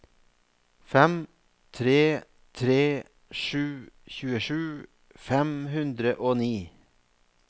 fem tre tre sju tjuesju fem hundre og ni